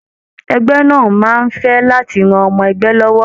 Ẹgbẹ náà máa n fẹ láti ràn ọmọ ẹgbẹ lọwọ.